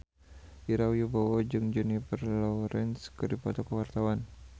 Ira Wibowo jeung Jennifer Lawrence keur dipoto ku wartawan